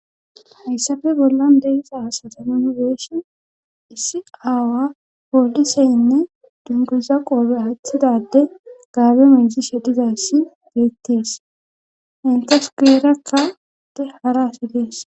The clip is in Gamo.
hayssafe bollan deyisa asatemanbeeshen issi aawa podiseynne dunguza qoobe aaththidade gaabe mensi shedhizassi geettees intesupuerakkaede hara asi dees